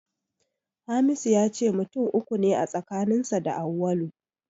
Hamisu ya ce mutum uku ne a tsakaninsa da Auwalu.